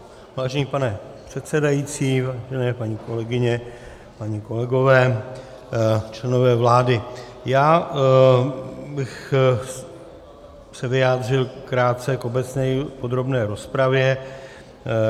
Vážený pane předsedající, vážení paní kolegyně, páni kolegové, členové vlády, já bych se vyjádřil krátce k obecné podrobné rozpravě.